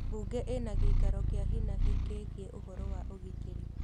Bungĩ ĩna gĩikaro kĩa hinahi kĩgiĩ ũhoro wa ũgitĩri